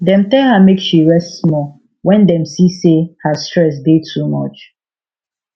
dem tell her make she rest small when dem see say her stress dey too much